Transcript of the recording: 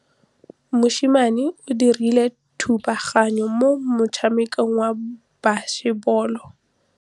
Mosimane o dirile thubaganyô mo motshamekong wa basebôlô.